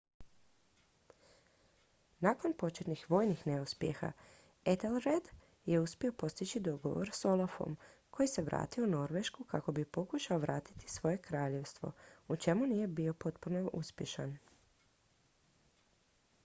nakon početnih vojnih neuspjeha ethelred je uspio postići dogovor s olafom koji se vratio u norvešku kako bi pokušao povratiti svoje kraljevstvo u čemu nije bio potpuno uspješan